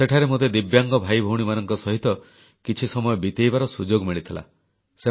ସେଠାରେ ମୋତେ ଦିବ୍ୟାଙ୍ଗ ଭାଇ ଭଉଣୀମାନଙ୍କ ସହିତ କିଛି ସମୟ ବିତେଇବାର ସୁଯୋଗ ମିଳିଥିଲା